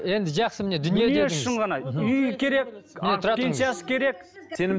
енді жақсы міне ғана үй керек пенсиясы керек сенім